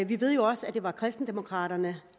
vi ved også at det var kristendemokraterne